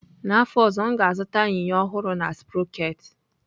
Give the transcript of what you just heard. N'afọ ọzọ m ga-azụta yinye ọhụrụ na sproketị.